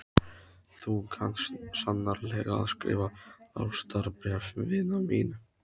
Þú kant sannarlega að skrifa ástarbréf, vina mín.